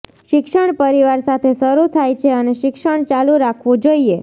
શિક્ષણ પરિવાર સાથે શરૂ થાય છે અને શિક્ષણ ચાલુ રાખવું જોઈએ